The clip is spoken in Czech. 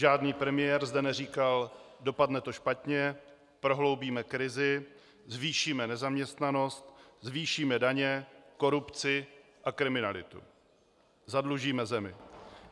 Žádný premiér zde neříkal: dopadne to špatně, prohloubíme krizi, zvýšíme nezaměstnanost, zvýšíme daně, korupci a kriminalitu, zadlužíme zemi.